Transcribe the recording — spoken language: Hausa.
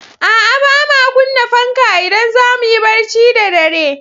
A'a, ba ma kunna fanka idan za mu yi barci da dare.